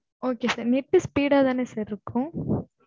okay sir net speed ஆ தான sir இருக்கும்.